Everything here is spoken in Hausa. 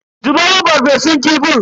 Zubo mun farfesun kifin.